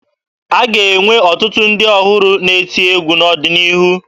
A ga-enwe ọtụtụ ndị ọhụrụ na-eti egwu n'ọdịnihu